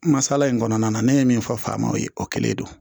Masala in kɔnɔna na ne ye min fɔ faamaw ye o kɛlen don